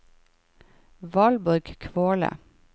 Valborg Kvåle